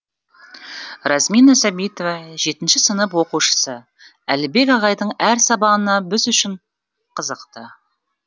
размина сәбитова жетінші сынып оқушысы әлібек ағайдың әр сабағына біз үшін қызықты